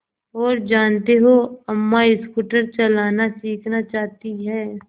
और जानते हो अम्मा स्कूटर चलाना सीखना चाहती हैं